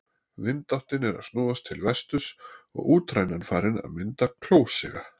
Vindáttin er að snúast til vesturs og útrænan farin að mynda klósiga.